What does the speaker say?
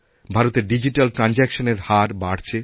ভারতেরডিজিট্যাল ট্র্যানজেকশনের হার বাড়ছে